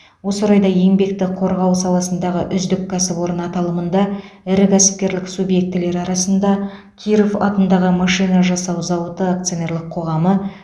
осы орайда еңбекті қорғау саласындағы үздік кәсіпорын аталымында ірі кәсіпкерлік субъектілері арасында киров атындағы машина жасау зауыты акционерлік қоғамы